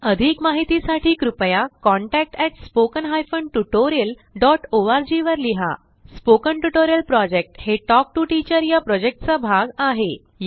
अधिक माहितीसाठी कृपया contact at spoken hyphen tutorial dot ORG वर लिहा स्पोकन ट्युटोरियल प्रॉजेक्ट हे टॉक टू टीचर या प्रॉजेक्टचा भाग आहे